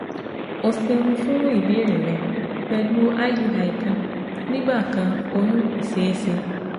O ṣeun fun ibeere rẹ, pẹlu IUI kan nigbakan oyun ko ṣee ṣe